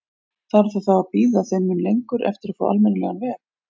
Þarf það þá að bíða þeim mun lengur eftir að fá almennilegan veg?